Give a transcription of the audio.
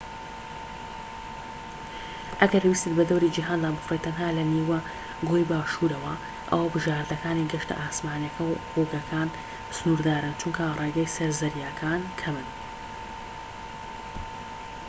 ئەگەر ویستت بەدەوری جیهاندا بفڕیت تەنها لە نیوە گۆی باشوورەوە ئەوا بژاردەکانی گەشتە ئاسمانیەکە و ڕووگەکان سنوردارن چونکە ڕێگەی سەر زەریاکان کەمن